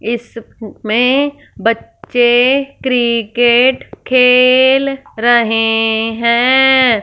इसमें बच्चे क्रिकेट खेल रहे है।